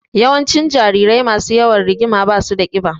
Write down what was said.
Yawancin jarirai masu yawan rigima ba su da ƙiba.